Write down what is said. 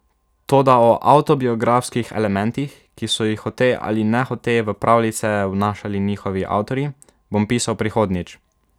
Toda o avtobiografskih elementih, ki so jih hote ali nehote v pravljice vnašali njihovi avtorji, bom pisal prihodnjič.